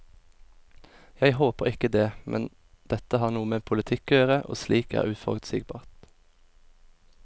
Jeg håper ikke det, men dette har noe med politikk å gjøre, og slikt er uforutsigbart.